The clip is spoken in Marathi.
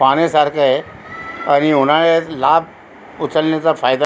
पाण्यासारखय आणि उन्हाळ्यात लाभ उचलण्याचा फायदा --